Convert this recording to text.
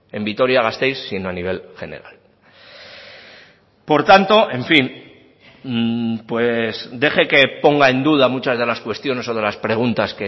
en vitoria gasteiz sino a nivel general por tanto en fin pues deje que ponga en duda muchas de las cuestiones o de las preguntas